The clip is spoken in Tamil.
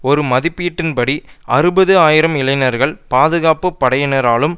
ஒரு மதிப்பீட்டின்படி அறுபது ஆயிரம் இளைஞர்கள் பாதுகாப்பு படையினராலும்